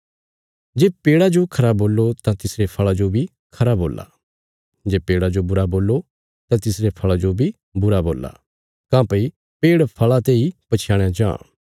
जे पेड़ा जो खरा बोल्लो तां तिसरे फल़ा जो बी खरा बोल्ला जे पेड़ा जो बुरा बोल्लो तां तिसरे फल़ा जो बी बुरा बोल्ला काँह्भई पेड़ फल़ा तेई पछयाणया जां